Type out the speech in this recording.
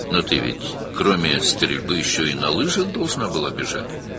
amma sən atəş açmaqdan başqa, xizəkdə də qaçmalıydın?